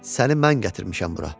Səni mən gətirmişəm bura.